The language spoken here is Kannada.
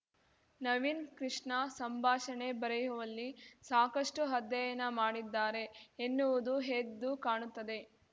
ನವೀನ್‌ಕೃಷ್ಣ ಸಂಭಾಷಣೆ ಬರೆಯುವಲ್ಲಿ ಸಾಕಷ್ಟುಅಧ್ಯಯನ ಮಾಡಿದ್ದಾರೆ ಎನ್ನುವುದೂ ಎದ್ದು ಕಾಣುತ್ತದೆ